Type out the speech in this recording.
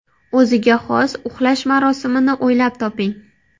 O‘ziga xos uxlash marosimini o‘ylab toping.